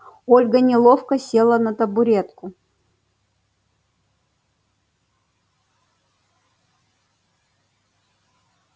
ольга неловко села на табуретку